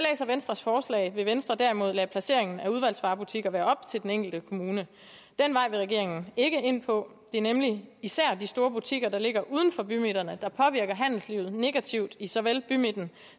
venstres forslag vil venstre derimod lade placeringen af udvalgsvarebutikker være op til den enkelte kommune den vej vil regeringen ikke ind på det er nemlig især de store butikker der ligger uden for bymidterne der påvirker handelslivet negativt i såvel bymidten